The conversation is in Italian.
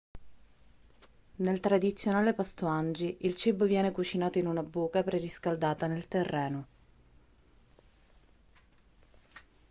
nel tradizionale pasto hangi il cibo viene cucinato in una buca preriscaldata nel terreno